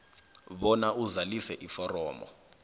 bona uzalise iforomu